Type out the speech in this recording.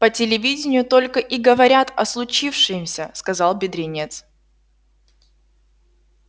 по телевиденью только и говорят о случившемся сказал бедренец